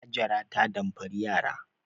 Hajara ta damfari yara.